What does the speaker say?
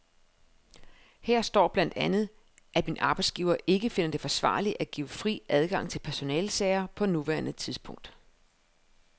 Her står blandt andet, at min arbejdsgiver ikke finder det forsvarligt at give fri adgang til personalesager på nuværende tidspunkt.